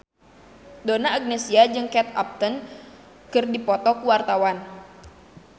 Donna Agnesia jeung Kate Upton keur dipoto ku wartawan